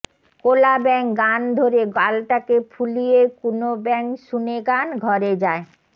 কোলা ব্যাঙ গান ধরে গালটাকে ফুলিয়েকুনো ব্যাঙ শুনে গান ঘরে যায়